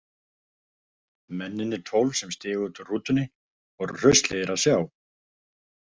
Mennirnir tólf sem stigu út úr rútunni voru hraustlegir að sjá.